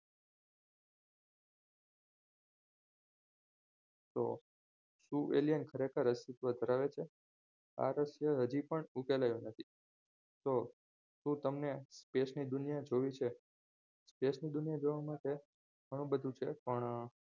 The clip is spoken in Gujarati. તો શું alien ખરેખર અસ્તિત્વ ધરાવે છે આ રહસ્ય હજી પણ ઉકેલાય નથી તો તું તમને સ્પેસ ની દુનિયા જોવી છે સ્પેસ ની દુનિયા માટે ઘણું બધું છે પણ